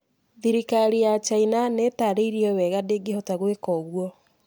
Thirikari ya China nĩ ĩtaarĩirie wega atĩ ndĩngĩhota gwĩka ũguo.